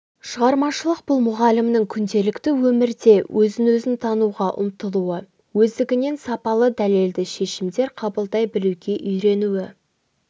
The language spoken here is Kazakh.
шығармашылық бұл мұғалімнің күнделікті өмірде өзін өзі тануға ұмтылуы өздігінен сапалы дәлелді шешімдер қабылдай білуге үйренуі